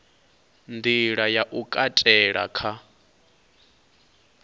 nḓila ya u katela kha